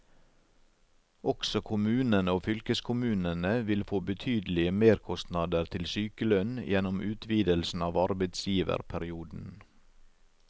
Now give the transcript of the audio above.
Også kommunene og fylkeskommunene vil få betydelige merkostnader til sykelønn gjennom utvidelsen av arbeidsgiverperioden.